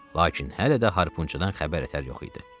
Lakin hələ də harpunçudan xəbər-ətər yox idi.